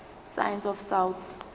science of south